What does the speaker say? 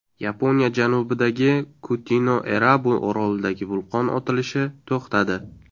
Yaponiya janubidagi Kutinoerabu orolidagi vulqon otilishi to‘xtadi.